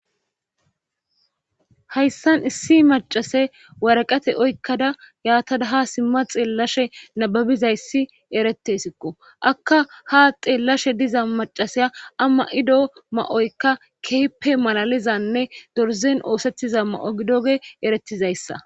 Hayssan issi macase waraqate oykkada yaatada ha simma xeellashe nababizayssi erettesikko akka ha xeellashe diza macaseya amma7ido ma7oykka keepe malalizanne dorzen oosettiza ma7o gidoge erettizayssa